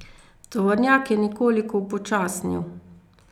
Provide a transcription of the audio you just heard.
Tovornjak je nekoliko upočasnil.